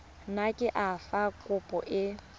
nako ya fa kopo e